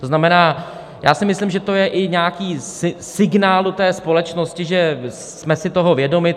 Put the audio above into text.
To znamená, já si myslím, že to je i nějaký signál do společnosti, že jsme si toho vědomi.